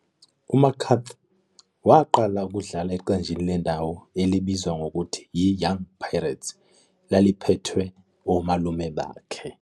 U-McCarthy waqala ukudlala eqenjini lendawo elibizwa ngokuthi yi-Young Pirates, elaliphethwe omalume bakhe.